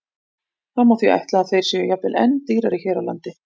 Það má því ætla að þeir séu jafnvel enn dýrari hér á landi.